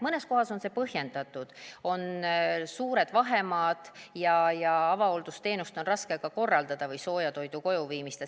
Mõnes kohas on see põhjendatud, on suured vahemaad ja avahooldusteenust või sooja toidu kojuviimist on raske korraldada.